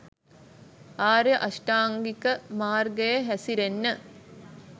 ආර්ය අෂ්ටාංගික මාර්ගයේ හැසිරෙන්න